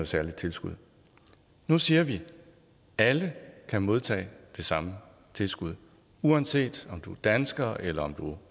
særligt tilskud nu siger vi at alle kan modtage det samme tilskud uanset om du er dansker eller om du